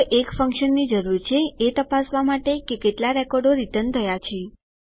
તો એક ફંક્શનની જરૂર છે એ તપાસવા માટે કે કેટલા રેકોર્ડો રીટર્ન થયા છે